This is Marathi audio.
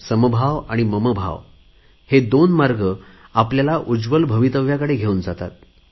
समभाव आणि ममभाव हे दोन मार्ग आपल्याला उज्वल भवितव्याकडे घेऊन जातात